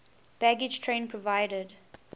baggage train provided